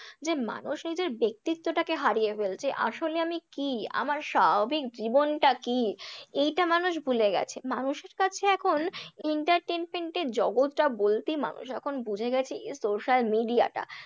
যে মানুষ নিজের ব্যাক্তিত্বটাকে হারিয়ে ফেলছে আসলে আমি কি? আমার স্বাভাবিক জীবনটা কি? এইটা মানুষ ভুলে গেছে, মানুষের কাছে এখন entertainment এর জগৎটা বলতেই মানুষ এখন বুঝে গেছে social media টা